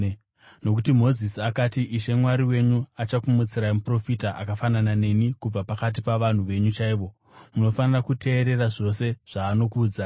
Nokuti Mozisi akati, ‘Ishe Mwari wenyu achakumutsirai muprofita akafanana neni kubva pakati pavanhu venyu chaivo; munofanira kuteerera zvose zvaanokuudzai.